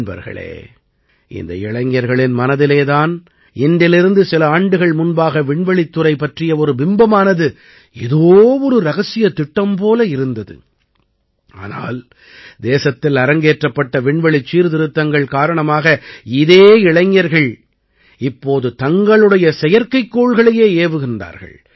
நண்பர்களே இந்த இளைஞர்களின் மனதிலே தான் இன்றிலிருந்து சில ஆண்டுகள் முன்பாக விண்வெளித்துறை பற்றிய ஒரு பிம்பமானது ஏதோ ஒரு ரகசியத் திட்டம் போல இருந்தது ஆனால் தேசத்தில் அரங்கேற்றப்பட்ட விண்வெளிச் சீர்திருத்தங்கள் காரணமாக இதே இளைஞர்கள் இப்போது தங்களுடைய செயற்கைக்கோள்களையே ஏவுகிறார்கள்